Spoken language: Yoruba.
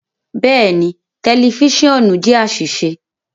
Bẹẹni, tẹlifisiọnu jẹ aṣiṣe